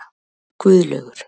Guðlaugur